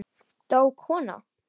Dó kona?